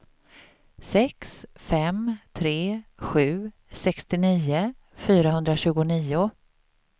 sex fem tre sju sextionio fyrahundratjugonio